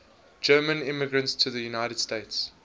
german immigrants to the united states